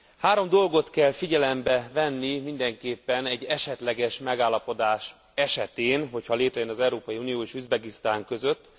Három dolgot kell figyelembe venni mindenképpen egy esetleges megállapodás esetén, ha létrejön az Európai Unió és Üzbegisztán között.